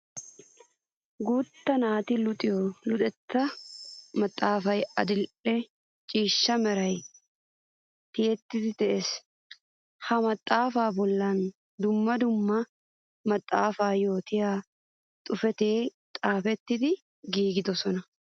Guuta naati luxiyo luxetta maxafay adli'ee ciishsha meran tiyettiddi de'ees. Ha maxafa bollan dumma dumma maxafa yootiya xuufetti xaafetti giigidosonna.